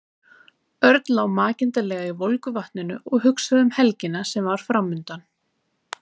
Örn lá makindalega í volgu vatninu og hugsaði um helgina sem var framundan.